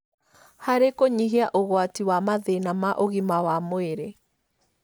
harĩ kũnyihia ũgwati wa mathĩna ma ũgima wa mwĩrĩ.